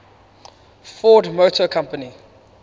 ford motor company